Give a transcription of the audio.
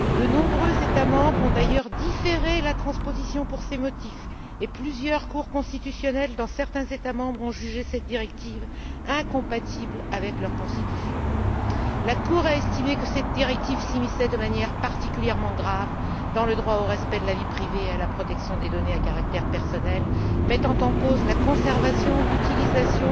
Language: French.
De nombreux États membres ont d'ailleurs différé la transposition pour ces motifs et plusieurs cours constitutionnelles, dans certains États membres, ont jugé cette directive incompatible avec leur constitution. La Cour a estimé que cette directive s'immisçait de manière particulièrement grave dans le droit au respect de la vie privée et à la protection des données à caractère personnel, mettant en cause la conservation, l'utilisation,